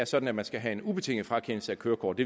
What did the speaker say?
sådan at man skal have en ubetinget frakendelse af kørekort